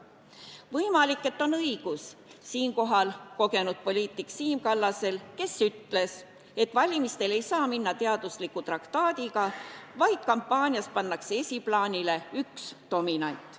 Võimalik, et siinkohal on õigus kogenud poliitikul Siim Kallasel, kes ütles, et valimistele ei saa minna teadusliku traktaadiga, vaid kampaanias pannakse esiplaanile üks dominant.